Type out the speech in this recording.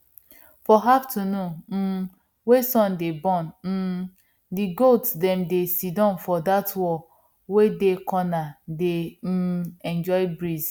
for afternoon um wey sun dey burn um di goats dem dey sidon for dat wall wey dey corner dey um enjoy breeze